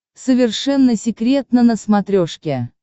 совершенно секретно на смотрешке